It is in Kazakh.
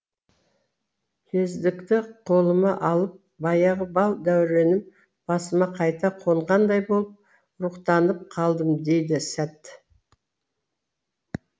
кездікті қолыма алып баяғы бал дәуренім басыма қайта қонғандай болып рухтанып қалдым дейді сәт